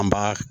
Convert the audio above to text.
An b'a